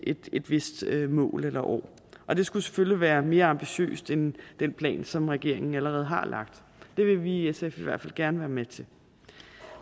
et et vist mål eller år og det skulle selvfølgelig være mere ambitiøst end den plan som regeringen allerede har lagt det vil vi i sf i hvert fald gerne være med til